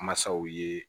Masaw ye